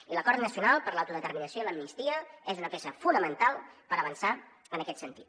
i l’acord nacional per a l’autodeterminació i l’amnistia és una peça fonamental per avançar en aquest sentit